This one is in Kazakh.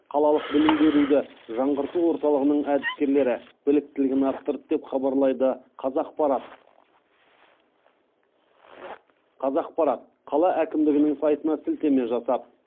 қалалық білім беруді жаңғырту орталығының әдіскерлері біліктілігін арттырды деп хабарлайды қазақпарат қала әкімдігінің сайтына сілтеме жасап